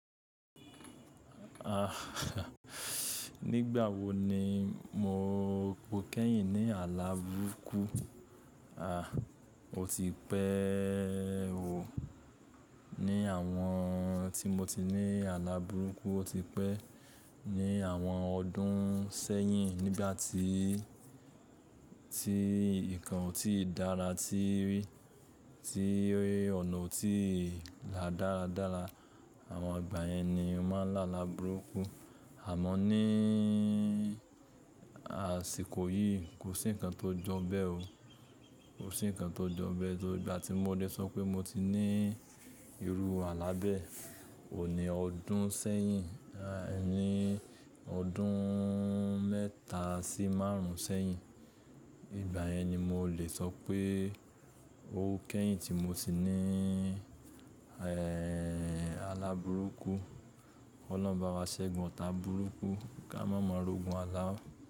Nígbà wo ni mo kẹ́yìn ní álà búruku? À, o ti pẹ́ẹẹẹ o. Ni àwọn tí mo ti ní álàbúruku o ti pẹ́, ní àwọn ọdún sẹ́yìn nígbà tí, tí nǹkan ò tíì dára, tí rí, tí ọ̀nà ò tíì la dáradára àwọn ìgbà yẹn ni a máa ń lá àlàbúrukú. Àmọ́ níiii àsìkò yìí kò sí ǹkan tó jọ bẹ́ẹ̀ o. Kò sí ǹkan tó jọ bẹ́ẹ̀ tóri ìgbà tí mo lè sọ pé mo ti ní irú àlá bẹ́ẹ̀. Óun ní ọdún sẹ́yìn, níii ọdúnnnn mẹ́ta sí márùn-ún sẹ́yìn. Ìgbà yẹn ni mo lè sọ pé o kẹ́yìn tí mo ti niiií, ẹ́ẹ́ẹẹẹ, álàbúrukú. Ọlọ́run bá wa ṣẹ́gun ọta burúkú kí a má mọ'rúgun aláá.